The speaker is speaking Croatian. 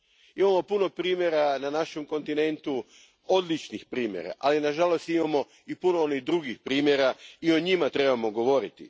Imamo puno primjera na našem kontinentu, odličnih primjera, ali na žalost imamo i puno onih drugih primjera i o njima trebamo govoriti.